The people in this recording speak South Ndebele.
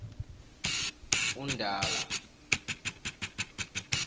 undala